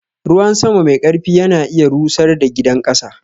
Ruwan sama mai ƙarfi ya na iya rusar da gidan ƙasa.